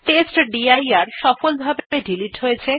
টেস্টডির directory সফলভাবে delete হয়ে গেছে